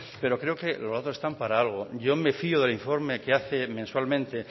pero creo que los datos están para algo yo me fío del informe que hace mensualmente